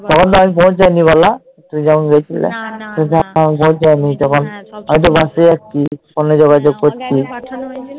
তখন তো আমি পৌঁছায়নি বলো তুমি যখন গিয়েছিলে আমি তখন পৌঁছায়নি না না আমি তো Bus এ যাচ্ছি phone এ যোগাযোগ করছি